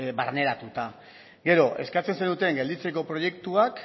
barneratuta gero eskatzen zenuten gelditzeko proiektuak